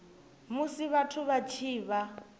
musi vhathu vha tshi vha